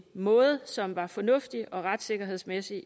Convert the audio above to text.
måde som var fornuftig og retssikkerhedsmæssigt